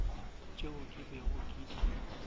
tšeo ke bego ke di